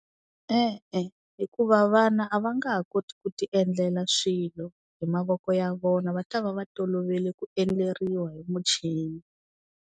E-e hikuva vana a va nga ha koti ku ti endlela swilo hi mavoko ya vona va ta va va tolovele ku endleriwa hi muchini.